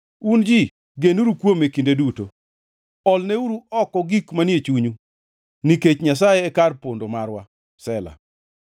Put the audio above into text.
Un ji, genuru kuome kinde duto; olneuru oko gik manie chunyu, nikech Nyasaye e kar pondo marwa. Sela